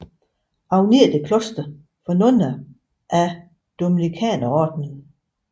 Agnete Kloster for nonner af Dominikanerordenen